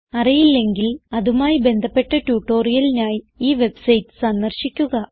അറിയില്ലെങ്കിൽ അതുമായി ബന്ധപ്പെട്ട ട്യൂട്ടോറിയലിനായി ഈ വെബ്സൈറ്റ് സന്ദർശിക്കുക